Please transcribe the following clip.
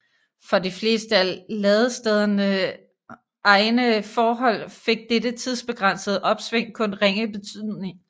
For de fleste af ladestederne egne forhold fik dette tidsbegrænsede opsving kun ringe betydning